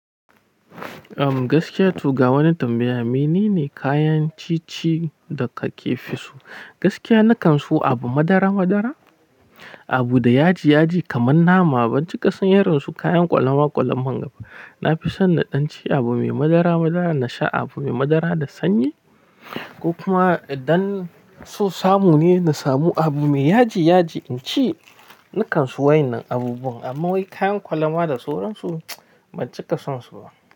Gaskiya to ga wani tambaya. Menene kayan ci ci da ka ke fi so? Gaskiya na kan so abu madara madara, abu da yaji yaji kamar nama ban ci ka son irin su kayan kwalama kwalaman ga ba. Na fi son na ɗan ci abu mai madara madara, na sha abu mai madara da sanyi ko kuma idan so samu ne, na samu abu mai yaji yaji in ci. Na kan so wa'yannan abubuwan amma wai kayan kwalama da suransu ban cika son su ba.